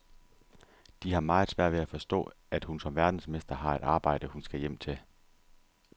De har meget svært ved at forstå, at hun som verdensmester har et arbejde, hun skal hjem til.